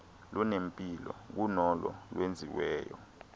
lunempilo kunolo lwenziweyo